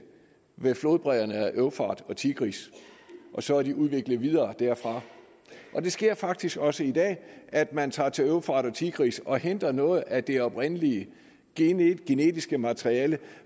ved flodbredderne ved eufrat og tigris og så er de udviklet videre derfra det sker faktisk også i dag at man tager til eufrat og tigris og henter noget af det oprindelige genetiske materiale